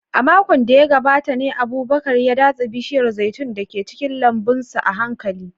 A makon da ya gabata ne Abubakar ya datse bishiyar zaitun da ke cikin lambun sa a hankali.